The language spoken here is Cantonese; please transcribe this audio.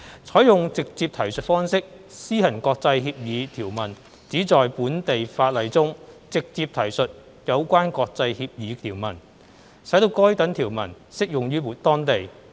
採用"直接提述方式"施行國際協議條文旨在本地法例中直接提述有關國際協議條文，使該等條文適用於當地。